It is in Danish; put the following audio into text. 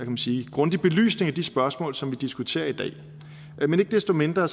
man sige grundig belysning af de spørgsmål som vi diskuterer i dag men ikke desto mindre